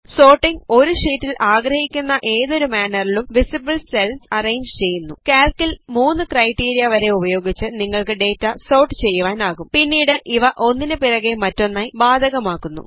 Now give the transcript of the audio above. sorting ഒരു ഷീറ്റിൽ ആഗ്രഹിക്കുന്ന ഏതൊരു മാനറിലും വിസിബിൾ സെൽസ് അറേഞ്ച് ചെയ്യുന്നു കാൽക്കിൽ മൂന്ന് ക്രൈടിരിയ വരെ ഉപയോഗിച്ച് നിങ്ങൾക്ക് ഡേറ്റ സോർട്ട് ചെയ്യുവാനാകും പിന്നീട് ഇവ ഒന്നിന് പിറകെ മറ്റൊന്നായി ബാധകമാക്കുന്നു